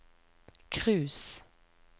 cruise